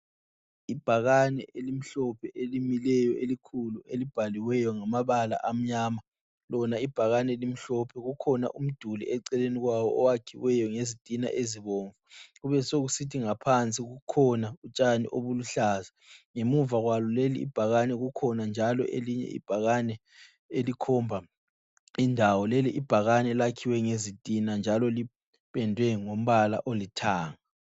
Ibhakane elimhlophe, elimileyo elikhulu elibhaliweyo ngamabala amnyama. Lona ibhakane limhlophe, kukhona umduli eceleni kwawo owakhiweyo ngezitina ezibomvu kubesokusithi ngaphansi kukhona utshani obuluhlaza. Ngemuva kwalo lelibhakane kukhona njalo elinye ibhakane elikhomba indawo. Leli ibhakane lakhiwe ngezitina njalo lipendwe ngombala oluthanga.